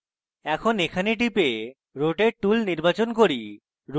এখন আমি এখানে টিপে rotate tool নির্বাচন করি